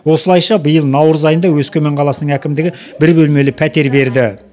осылайша биыл наурыз айында өскемен қаласының әкімдігі бір бөлмелі пәтер берді